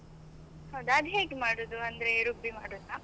ಹೌದ ಅದ್ ಹೇಗೆ ಮಾಡುದು ಅಂದ್ರೆ ರುಬ್ಬಿ ಮಾಡುದ?